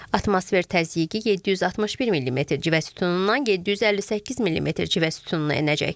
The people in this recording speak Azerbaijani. Atmosfer təzyiqi 761 millimetr civə sütunundan 758 millimetr civə sütununa enəcək.